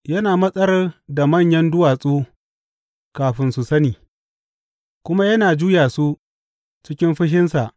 Yana matsar da manyan duwatsu kafin su sani kuma yana juya su cikin fushinsa.